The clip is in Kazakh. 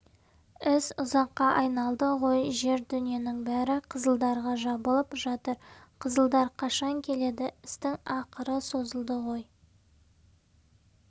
іс ұзаққа айналды ғой жер-дүниенің бәрі қызылдарға жабылып жатыр қызылдар қашан келеді істің ақыры созылды ғой